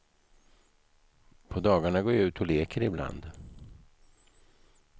På dagarna går jag ut och leker ibland.